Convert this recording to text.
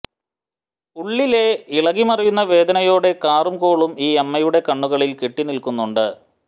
ഉളളിലെ ഇളകി മറിയുന്ന വേദനയുടെ കാറും കോളും ഈ അമ്മയുടെ കണ്ണുകളിൽ കെട്ടിനിൽക്കുന്നുണ്ട്